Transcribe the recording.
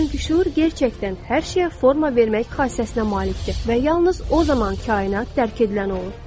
Çünki şüur həqiqətən hər şeyə forma vermək xassəsinə malikdir və yalnız o zaman kainat dərk edilən olur.